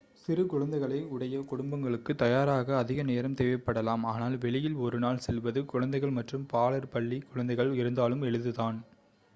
சிறு குழந்தைகளை உடைய குடும்பங்களுக்கு தயாராக அதிக நேரம் தேவைப்படலாம் ஆனால் வெளியில் ஒரு நாள் செல்வது குழந்தைகள் மற்றும் பாலர் பள்ளிக் குழந்தைகள் இருந்தாலும் எளிதுதான்